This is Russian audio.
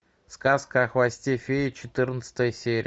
сказка о хвосте феи четырнадцатая серия